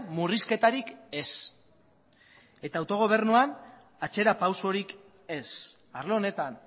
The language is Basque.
murrizketarik ez eta autogobernuan atzera pausorik ez arlo honetan